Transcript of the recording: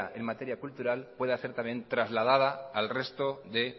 en materia cultural pueda ser también trasladada al resto de